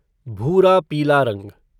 भूरा पीला रंग